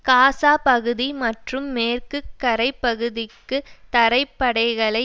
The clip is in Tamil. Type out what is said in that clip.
காசா பகுதி மற்றும் மேற்கு கரைப் பகுதிக்கு தரைப் படைகளை